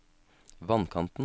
vannkanten